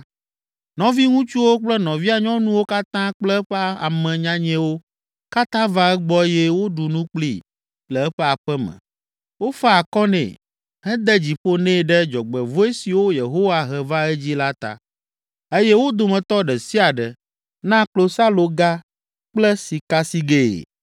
Nɔviŋutsuwo kple nɔvia nyɔnuwo katã kple eƒe ame nyanyɛwo katã va egbɔ eye woɖu nu kplii le eƒe aƒe me. Wofa akɔ nɛ, hede dzi ƒo nɛ ɖe dzɔgbevɔ̃e siwo Yehowa he va edzii la ta eye wo dometɔ ɖe sia ɖe na klosaloga kple sikasigɛe.